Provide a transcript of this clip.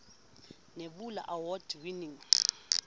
nebula award winning